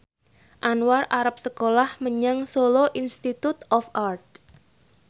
Anwar arep sekolah menyang Solo Institute of Art